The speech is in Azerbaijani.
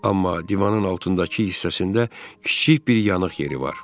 Amma divanın altındakı hissəsində kiçik bir yanıq yeri var.